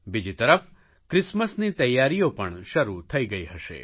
બીજી તરફ ક્રિસમસની તૈયારીઓ પણ શરૂ થઇ ગઇ હશે